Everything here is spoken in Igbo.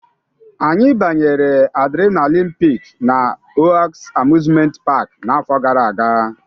Anyị banyere adrenaline Peak na Oaks Amusement Park n'afọ gara aga